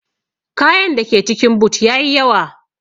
kayan dake cikin boot yayi yawa.